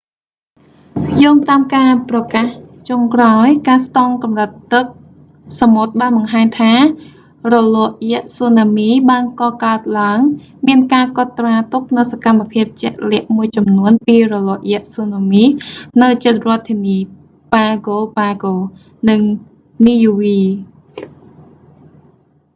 យោងតាមការប្រកាសចុងក្រោយ ការស្ទង់កម្រិតទឹកសមុទ្របានបង្ហាញថា រលកយក្សស៊ូណាមីបានកកើតឡើង មានការកត់ត្រាទុកនូវសកម្មភាពជាក់លាក់មួយចំនួនពីរលកយក្សស៊ូណាមី នៅជិតរដ្ឋធានី pago pago ប៉ាហ្គោ ប៉ាហ្គោ និង niue នីយូវី